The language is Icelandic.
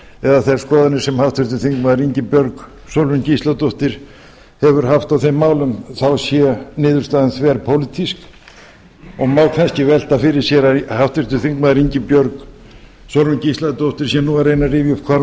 eða þær skoðanir sem háttvirtur þingmaður ingibjörg sólrún gísladóttir hefur haft á þeim málum þá sé niðurstaðan þverpólitísk það má kannski velta fyrir sér að háttvirtur þingmaður ingibjörg sólrún gísladóttir sé nú að reyna að rifja upp hvar